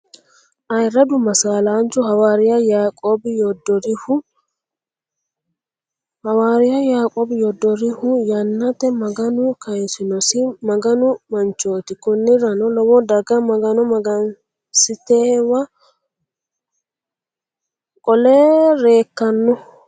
Ayyiradu masaalanchu hawariyyau yaiqobi yuduriho, hawariyu yaiqobi yudurehu yanate maganu kayisinosi maganu manchooti koniranno lowo daga maganu mangisitewa qole reekanno